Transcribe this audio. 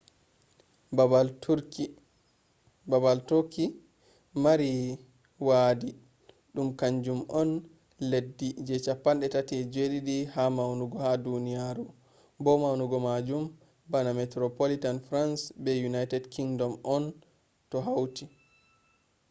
babal turkey mari wadi dum kanjum on leddi je 37 ha maunugo ha duniyaru bo maunugo majum bana metropolitan france be united kingdom on do hauti